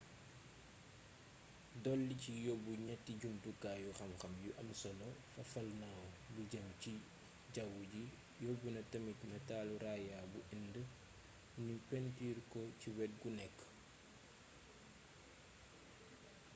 dolli ci yóbbu ñetti jumtukaayu xam-xam yu am solo fafalnaaw bi jëm ci jawwu ji yóbbu na tamit natalu raaya bu indë nu pentuur ko ci wet gu nekk